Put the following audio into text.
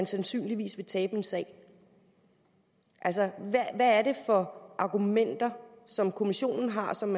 sandsynligvis vil tabe en sag altså hvad er det for argumenter som kommissionen har og som